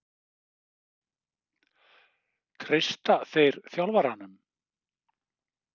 Treysta þeir þjálfaranum?